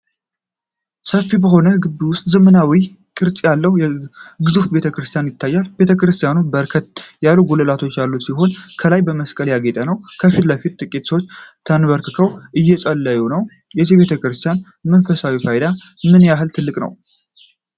ሰፊ በሆነ ግቢ ውስጥ፣ ዘመናዊ ቅርጽ ያለው ግዙፍ ቤተ ክርስቲያን ይታያል። ቤተ ክርስቲያኑ በርከት ያሉ ጉልላቶች ያሉት ሲሆን፣ ከላይ በመስቀል ያጌጠ ነው። ከፊት ለፊት ጥቂት ሰዎች ተንበርክከው እየጸለዩ ነው። የዚህ ቤተ ክርስቲያን መንፈሳዊ ፋይዳ ምን ያህል ትልቅ ነው?